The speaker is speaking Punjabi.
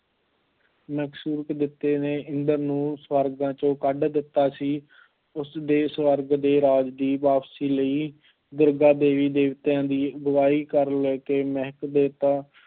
ਨੇ ਇੰਦਰ ਨੂੰ ਸਵਰਗਾਂ 'ਚੋਂ ਕੱਢ ਦਿੱਤਾ ਸੀ, ਉਸਦੇ ਸਵਰਗ ਦੇ ਰਾਜ ਦੀ ਵਾਪਸੀ ਲਈ ਦੁਰਗਾ ਦੇਵੀ ਦੇਵਤਿਆਂ ਦੀ ਅਗਵਾਈ ਕਰ ਲੈ ਕੇ ਮਹਿਕ ਦੇਵਤਾ